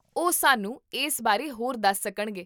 ਓਹ ਸਾਨੂੰ ਇਸ ਬਾਰੇ ਹੋਰ ਦਸ ਸਕਣਗੇ